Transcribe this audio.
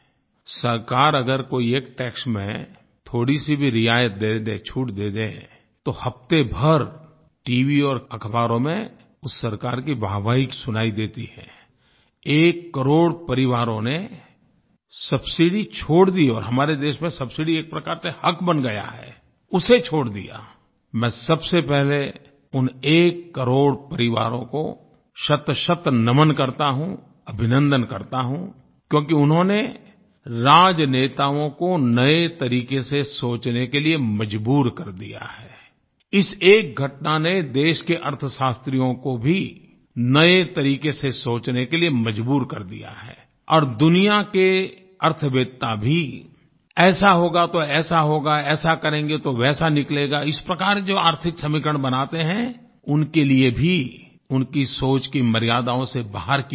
सरकार अगर कोई एक टैक्स में थोड़ीसी भी रियायत दे दे छूट दे दे तो हफ़्ते भर टीवी और अखबारों में उस सरकार की वाहवाही सुनाई देती हैI एककरोड़ परिवारों ने सबसिडी छोड़ दी और हमारे देश में सबसिडी एक प्रकार से हक़ बन गया है उसे छोड़ दियाI मैं सबसे पहले उन एककरोड़ परिवारों को शतशत नमन करता हूँ अभिनन्दन करता हूँI क्योंकि उन्होंने राजनेताओं को नये तरीके से सोचने के लिए मजबूर कर दिया हैI इस एक घटना ने देश के अर्थशास्त्रियों को भी नये तरीके से सोचने के लिए मजबूर कर दिया हैI और दुनिया के अर्थवेत्ता भी ऐसा होगा तो ऐसा होगा ऐसा करेंगे तो वैसा निकलेगा इस प्रकार जो आर्थिक समीकरण बनाते हैं उनके लिये भी उनकी सोच की मर्यादाओं से बाहर की ये घटना है